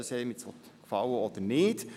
Das mag einem gefallen oder nicht.